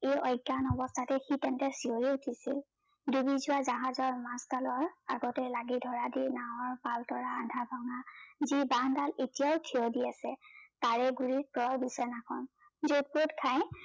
এই অজ্ঞান অৱস্থাতে সি তেন্তে চিঞৰি উঠিছিল দুবি যোৱা জাহাজৰ মাজ ডালত আগতে লাগি থকা দি নাৱৰ পাল ধৰা আধা ভঙা যি বাহ দাল এতিয়াই থিয় দি আছে তাৰে গুড়িত প্ৰৰ বিচনাখন জুত পুত খাই